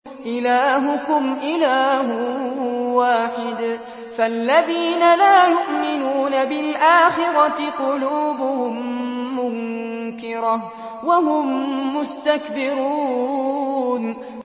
إِلَٰهُكُمْ إِلَٰهٌ وَاحِدٌ ۚ فَالَّذِينَ لَا يُؤْمِنُونَ بِالْآخِرَةِ قُلُوبُهُم مُّنكِرَةٌ وَهُم مُّسْتَكْبِرُونَ